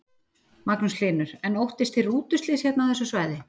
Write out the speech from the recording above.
Magnús Hlynur: En óttist þið rútuslys hérna á þessu svæði?